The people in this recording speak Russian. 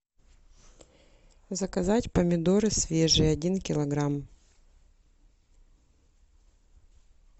заказать помидоры свежие один килограмм